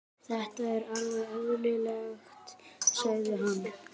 Þetta er alveg eðlilegt, sagði hann.